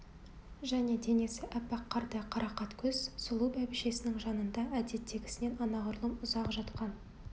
және денесі аппақ қардай қарақат көз сұлу бәйбішесінің жанында әдеттегісінен анағұрлым ұзақ жатқан